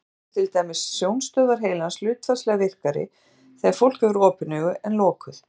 Þannig eru til dæmis sjónstöðvar heilans hlutfallslega virkari þegar fólk hefur opin augu en lokuð.